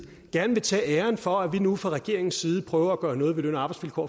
gerne vil tage æren for at vi nu fra regeringens side prøver at gøre noget ved løn og arbejdsvilkår